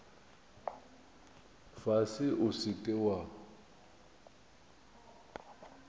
fase o se ke wa